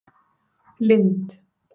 Lind